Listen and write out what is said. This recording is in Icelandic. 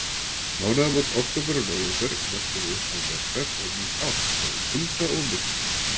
Mánaðarmót október og nóvember mörkuðu upphaf vetrar og nýs árs með kulda og myrkri.